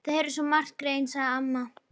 Þau heyra svo margt, greyin, sagði amma.